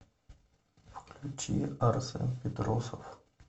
включи арсен петросов